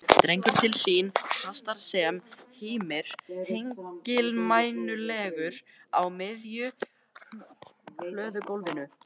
Dregur til sín kassa sem hímir hengilmænulegur á miðju hlöðugólfinu.